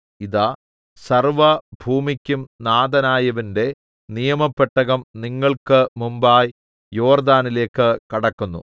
ഇതാ സർവ്വഭൂമിക്കും നാഥനായവന്റെ നിയമപെട്ടകം നിങ്ങൾക്ക് മുമ്പായി യോർദ്ദാനിലേക്ക് കടക്കുന്നു